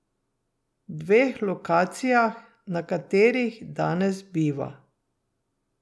Dveh lokacijah, na katerih danes biva.